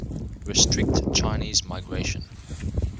restrict chinese migration